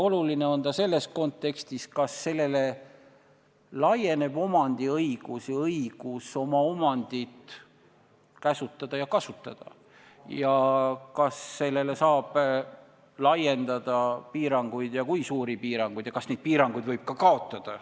Oluline on ta selles kontekstis, et kas sellele laieneb omandiõigus ja õigus oma omandit kasutada ja käsutada ning kas sellele saab laiendada piiranguid ja kui saab, siis kui suuri piiranguid, ja kas neid piiranguid võib ka kaotada.